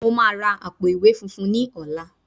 Mo máa ra àpò-ìwé funfun ní ọ̀la